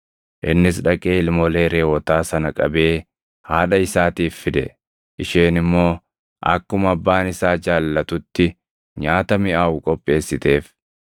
Innis dhaqee ilmoolee reʼootaa sana qabee haadha isaatiif fide; isheen immoo akkuma abbaan isaa jaallatutti nyaata miʼaawu qopheessiteef.